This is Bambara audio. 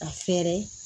A fɛɛrɛ